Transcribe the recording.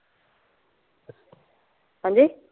ਹਾਂਜੀ?